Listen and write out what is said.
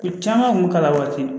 U caman kun bɛ k'a la waati